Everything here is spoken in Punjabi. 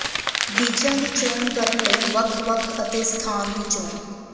ਬੀਜਾਂ ਦੀ ਚੋਣ ਕਰਨ ਲਈ ਵੱਖ ਵੱਖ ਅਤੇ ਸਥਾਨ ਦੀ ਚੋਣ